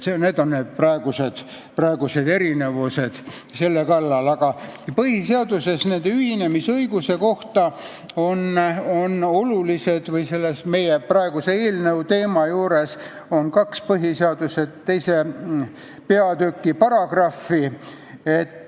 Aga eelnõu teema juures on olulised põhiseaduse II. peatüki kaks paragrahvi.